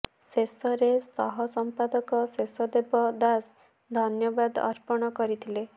ଶେଷରେ ସହ ସଂପାଦକ ଶେଷଦେବ ଦାସ ଧନ୍ୟବାଦ ଅର୍ପଣ କରିଥିଲେ